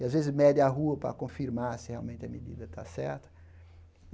E, às vezes, mede a rua para confirmar se realmente a medida está certa.